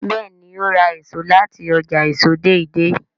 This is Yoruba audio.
béèni o rà èso láti ọjà èso Deidei.